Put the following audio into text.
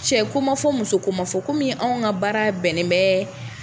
Cɛ ko ma fɔ, muso ko ma fɔ , komi anw ka baara bɛnnen bɛɛ.